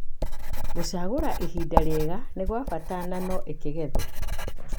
Gũcagora ihinda rĩega nĩgwabata nano ĩkĩgethwo.